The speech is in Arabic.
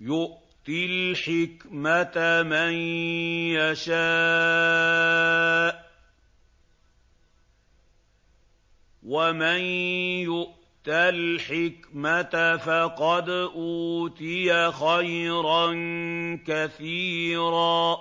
يُؤْتِي الْحِكْمَةَ مَن يَشَاءُ ۚ وَمَن يُؤْتَ الْحِكْمَةَ فَقَدْ أُوتِيَ خَيْرًا كَثِيرًا ۗ